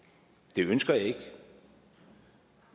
det ønsker jeg ikke